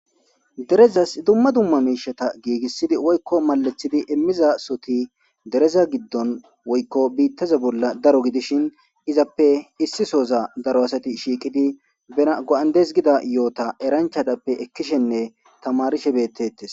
Derezas dumma dumma miishata giigissidi woykko malathidi immiza soti dereza giddon woykko biittaza bolla daro gidishin izappe issi sooza daro asati shiiqidi bea go'andes gida yoota eranchatappe ekkishenne tamarishe beettettes